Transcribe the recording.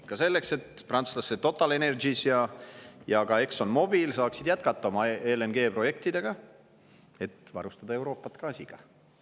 Ikka selleks, et prantslaste TotalEnergies ja ka Exxon Mobil saaksid jätkata oma LNG-projekte, et varustada Euroopat gaasiga.